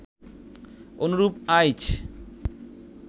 অনুরূপ আইচ